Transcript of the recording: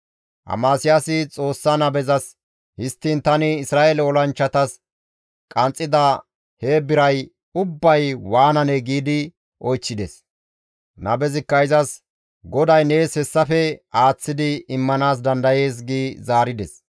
Amasiyaasi Xoossa nabezas, «Histtiin tani Isra7eele olanchchatas qanxxida he biray ubbay waananee?» giidi oychchides. Nabezikka izas, «GODAY nees hessafe aaththidi immanaas dandayees» gi zaarides.